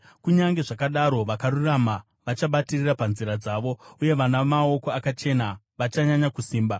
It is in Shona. Kunyange zvakadaro, vakarurama vachabatirira panzira dzavo, uye vana maoko akachena vachanyanya kusimba.